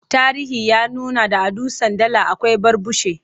Tarihi ya nuna da a Dutsen Dala akwai Barbushe.